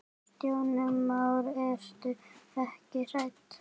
Kristján Már: Ertu ekkert hrædd?